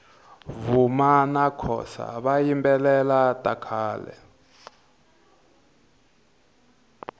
vuma nakhosa vayimbelela takhale